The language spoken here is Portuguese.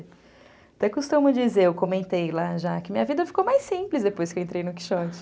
Até costumo dizer, eu comentei lá já, que minha vida ficou mais simples depois que eu entrei no Quixote.